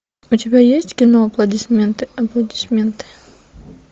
у тебя есть кино аплодисменты аплодисменты